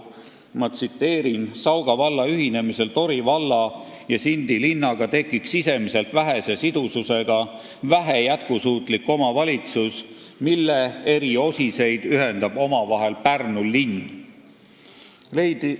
Ma tsiteerin: "Sauga valla ühinemisel Tori valla ja Sindi linnaga tekiks sisemiselt vähese sidususega vähe jätkusuutlik omavalitsus, mille eri osiseid ühendab omavahel Pärnu linn.